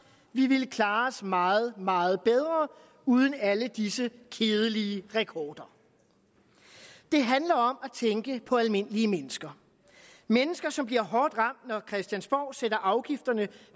vi ville klare os meget meget bedre uden alle disse kedelige rekorder det handler om at tænke på almindelige mennesker mennesker som bliver hårdt ramt når christiansborg sætter afgifterne